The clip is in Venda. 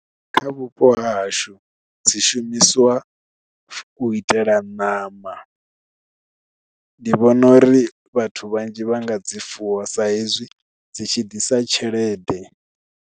Kha vhupo hahashu dzi shumisiwa u itela ṋama ndi vhona uri vhathu vhanzhi vha nga dzi fuwa sa hezwi dzi tshi ḓisa tshelede.